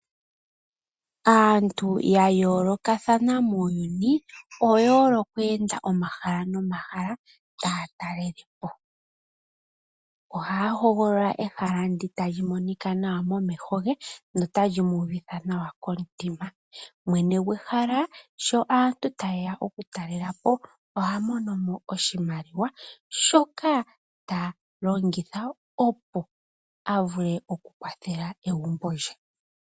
Aantu ya yolokathana muuyuni oye hole oku enda omahala nomahala taya talalepo. Ohaya hogolola ehala ndyoka tali monika nawa momeho ge notali mu uvitha nawa komutima, mwene gwehala sho aantu taye ya oku talelapo ohamo nomo oshimaliwa shoka talongitha opo avule oku kwathela egumbo lye.